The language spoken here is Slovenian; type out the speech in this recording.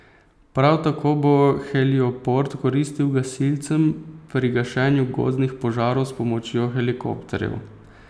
Prav tako bo helioport koristil gasilcem pri gašenju gozdnih požarov s pomočjo helikopterjev.